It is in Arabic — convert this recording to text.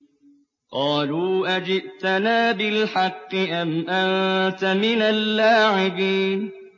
قَالُوا أَجِئْتَنَا بِالْحَقِّ أَمْ أَنتَ مِنَ اللَّاعِبِينَ